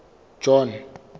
john